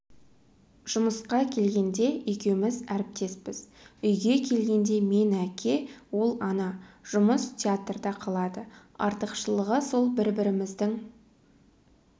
жұмысқа келгенде екеуміз әріптеспіз үйге келгенде мен әке ол ана жұмыс театрда қалады артықшылығы сол бір-біріміздің